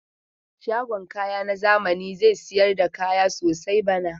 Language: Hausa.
Shagon kaya na zami zai sayar da kaya sosai bana.